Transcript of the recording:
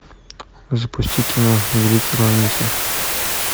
запусти кино великий уравнитель